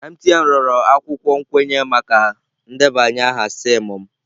MTN rịọrọ akwụkwọ nkwenye maka ndebanye aha SIM m.